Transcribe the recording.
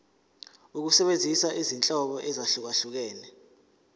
ukusebenzisa izinhlobo ezahlukehlukene